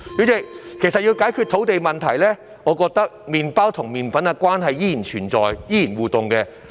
主席，其實要解決土地問題，我覺得麵包和麵粉的互動關係依然存在。